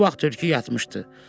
O vaxt tülkü yatmışdı.